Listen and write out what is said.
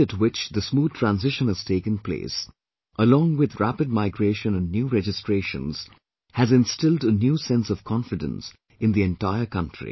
The speed at which the smooth transition has taken place, along with rapid migration and new registrations, has instilled a new sense of confidence in the entire country